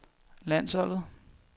landsholdet